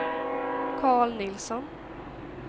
Karl Nilsson